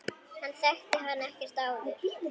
Hann þekkti hann ekkert áður.